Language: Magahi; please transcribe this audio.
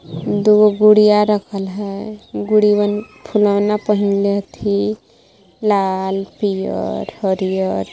दुगो गुड़िया रखल है गुड़ीवन फुलौना पेहनले हथी लाल पियर हरिहर.